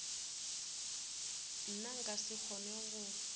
nna nka se kgone go